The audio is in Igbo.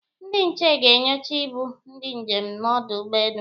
Ndị nche ga-enyocha ibu ndị njem n'ọdụ ụgbọelu